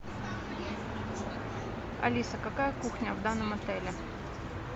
алиса какая кухня в данном отеле